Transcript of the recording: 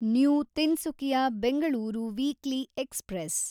new Tinsukia Bengaluru weekly express